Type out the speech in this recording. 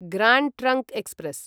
grand trunk express